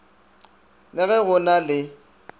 le ge go na le